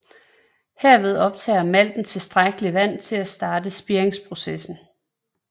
Herved optager malten tilstrækkeligt vand til at starte spiringsprocessen